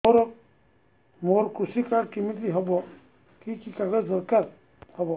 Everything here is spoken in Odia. ମୋର କୃଷି କାର୍ଡ କିମିତି ହବ କି କି କାଗଜ ଦରକାର ହବ